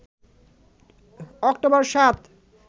October ৭